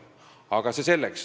Aga see selleks.